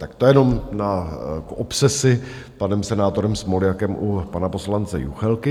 Tak to jenom na obsesi panem senátorem Smoljakem u pana poslance Juchelky.